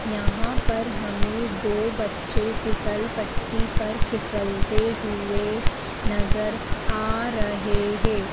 यहां पर हमे दो बच्चे फिसलपट्टी पर फिसलते हुए नज़र आ रहे है।